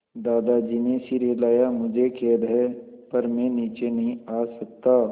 दादाजी ने सिर हिलाया मुझे खेद है पर मैं नीचे नहीं आ सकता